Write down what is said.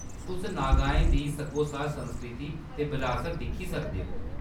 तुस नागाएं दी सग्गोसार संस्कृति ते बरासत दिक्खी सकदे ओ।